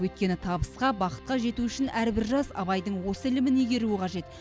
өйткені табысқа бақытқа жету үшін әрбір жас абайдың осы ілімін игеруі қажет